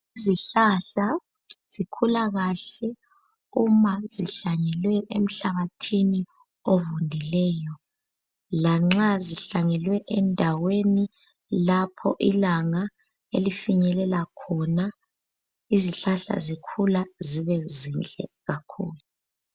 Izihlahla zikhula kahle uma zihlanyelwe emhlabathini ovundileyo lanxa zihlanyelwe endaweni lapho ilanga elifinyelela khona, izihlahla zikhula zibe zinhle kakhulu.